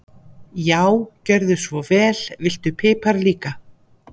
Já, gjörðu svo vel. Viltu pipar líka?